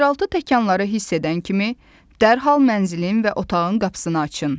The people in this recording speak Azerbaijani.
Yeraltı təkanları hiss edən kimi, dərhal mənzilin və otağın qapısını açın.